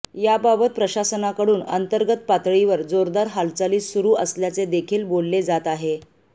याबाबत प्रशासनाकडून अंतर्गत पातळीवर जोरदार हालचाली सुरु असल्याचे देखील बोलले जात आहे